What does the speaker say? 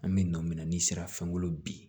An bɛ nɔ min na n'i sera fɛnw bolo bi